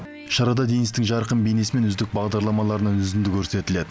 шарада денистің жарқын бейнесі мен үздік бағдарламаларынан үзінді көрсетіледі